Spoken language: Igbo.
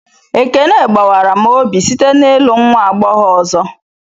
Ekene gbawara m obi site n'ịlụ nwa agbọghọ ọzọ